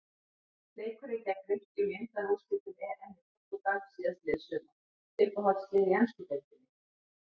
Leikurinn gegn Grikkjum í undanúrslitum EM í Portúgal síðastliðið sumar Uppáhaldslið í ensku deildinni?